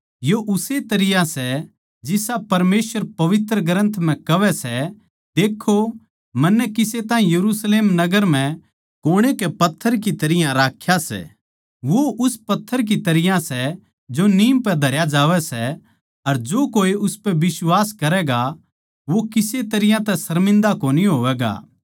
यो उस्से तरियां सै जिसा परमेसवर पवित्र ग्रन्थ म्ह कहवै सै देखों मन्नै किसे ताहीं यरुशलेम नगर म्ह कोणे के पत्थर की तरियां राख्या सै वो उस पत्थर की तरियां सै जो नीम पै धरया जावै सै अर जो कोए उसपै बिश्वास करैगा वो किसे तरियां तै शर्मिन्दा कोनी होवैगा